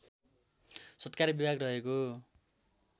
सत्कार विभाग रहेको